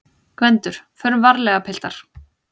GVENDUR: Förum varlega, piltar!